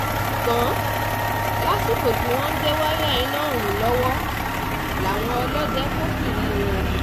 ṣùgbọ́n um lásìkò tí wọ́n ń gé wáyà iná ọ̀hún lọ́wọ́ làwọn ọlọ́dẹ kófìrí um wọn